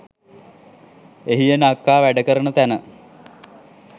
එහි එන අක්කා වැඩ කරන තැන